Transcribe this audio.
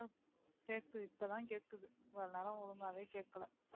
அஹ் கேட்குது இப்பதான் கேட்குது இவ்வளவு நேரம் ஒழுங்காவே கேட்கலை